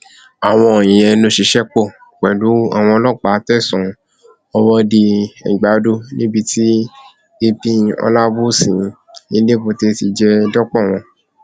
àwọn ìyẹn ló ṣiṣẹ pọ pẹlú àwọn ọlọpàá tẹsán ọwọdeẹgbàdo níbi tí ap olabosi elébúté ti jẹ dọpọ wọn